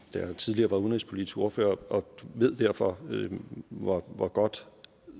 jeg tidligere var udenrigspolitisk ordfører og jeg ved derfor hvor hvor godt